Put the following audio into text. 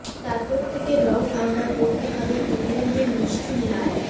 তারপর থেকে রঙ আমরা পরতে হবে ইংল্যান্ড এর নিষ্ঠুর লাল